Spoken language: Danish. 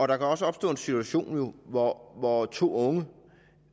der kan også opstå en situation hvor hvor to unge